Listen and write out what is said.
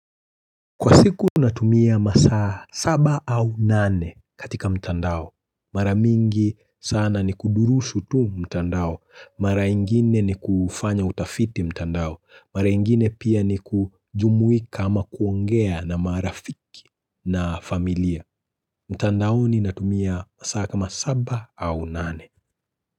Kwa siku natumia masaa saba au nane katika mtandao. Mara mingi sana ni kudurushu tu mtandao. Mara ingine ni kufanya utafiti mtandao. Mara ingine pia ni kujumuika ama kuongea na marafiki na familia. Mtandaoni natumia masaa kama saba au nane.